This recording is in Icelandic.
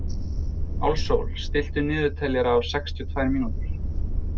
Álfsól, stilltu niðurteljara á sextíu og tvær mínútur.